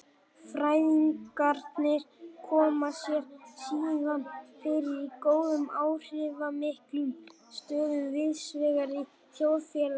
Fræðingarnir koma sér síðan fyrir í góðum áhrifamiklum stöðum víðsvegar í þjóðfélaginu.